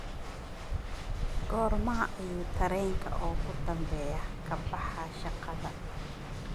Goorma ayuu tareenka ugu dambeeya ka baxaa shaqada?